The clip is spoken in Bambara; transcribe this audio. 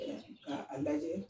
K'aa lajɛ